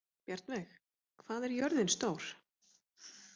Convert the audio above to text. Bjarnveig, hvað er jörðin stór?